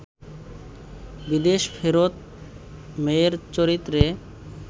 বিদেশ ফেরত মেয়ের চরিত্রে